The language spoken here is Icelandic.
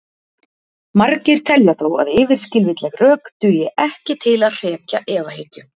margir telja þó að yfirskilvitleg rök dugi ekki til að hrekja efahyggju